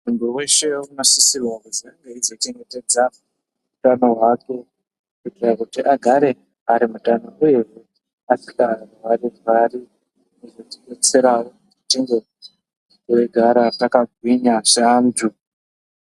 Muntu weshe uno sisirwa kuzi ange eyizo chengetedza utano hwake kuitira kuti agare ari mutano uyehe asika rwari rwari zvinozoti detserawo tinge teigara takagwinya se antu.